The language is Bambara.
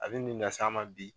A bɛ nin las'an ma bi.